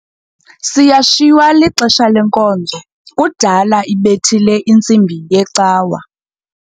Siyashiywa lixesha lenkonzo kudala ibethile intsimbi yecawa.